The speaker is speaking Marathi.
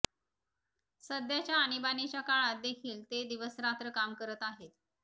सध्याच्या आणीबाणीच्या काळात देखील ते दिवसरात्र काम करत आहेत